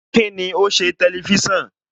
Kíni o ṣe Tẹlifísàn?